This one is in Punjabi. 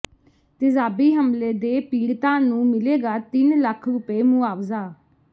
ਤੇਜ਼ਾਬੀ ਹਮਲੇ ਦੇ ਪੀੜਤਾਂ ਨੂੰ ਮਿਲੇਗਾ ਤਿੰਨ ਲੱਖ ਰੁਪਏ ਮੁਆਵਜ਼ਾ